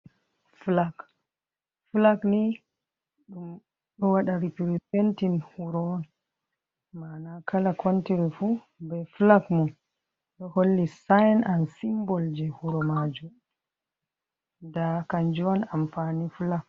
Flak, Flak niɗum ɗo waɗa repretentin wuro on mana kala kontiri fu be Flak mo ɗo holli sain an simbol je wuro majum nda kanjum on amfani Flak.